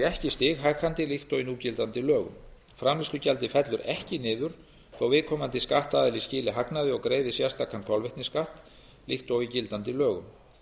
ekki stighækkandi líkt og í núgildandi lögum framleiðslugjaldið fellur ekki niður þó viðkomandi skattaðili skili hagnaði og greiði sérstakan kolvetnisskatt líkt og í gildandi lögum